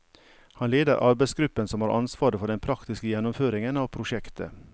Han leder arbeidsgruppen som har ansvaret for den praktiske gjennomføringen av prosjektet.